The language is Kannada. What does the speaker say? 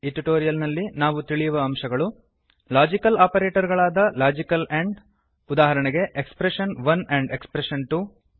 ಈ ಟ್ಯುಟೊರಿಯಲ್ ನಲ್ಲಿ ನಾವು ತಿಳಿಯುವ ಅಂಶಗಳು160 ಲಾಜಿಕಲ್ ಆಪರೇಟರ್ ಗಳಾದ ಲಾಜಿಕಲ್ ಅಂಡ್ ಉದಾಹರಣೆಗೆ expression one and expression to